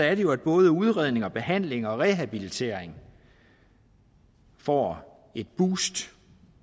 er det jo at både udredning behandling og rehabilitering får et boost